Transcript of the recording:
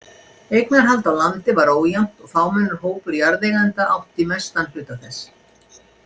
Eignarhald á landi var ójafnt og fámennur hópur jarðeigenda átti mestan hluta þess.